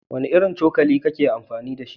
Wanne irin cokali ka yi amfani da shi?